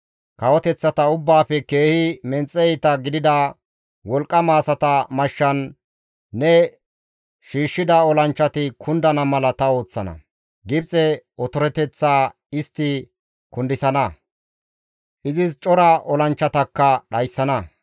Kawoteththata ubbaafe keehi menxe iita gidida, wolqqama asata mashshan ne shiishshida olanchchati kundana mala ta ooththana; Gibxe otoreteththaa istti kundisana; izis cora olanchchatakka dhayssana.